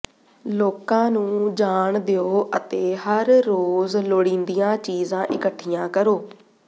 ਲੋਕਾਂ ਨੂੰ ਜਾਣ ਦਿਓ ਅਤੇ ਹਰ ਰੋਜ਼ ਲੋੜੀਂਦੀਆਂ ਚੀਜ਼ਾਂ ਇਕੱਠੀਆਂ ਕਰੋ